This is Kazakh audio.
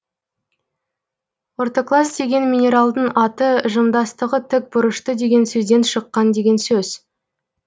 ортоклаз деген минералдың аты жымдастығы тік бұрышты деген сөзден шыққан деген сөз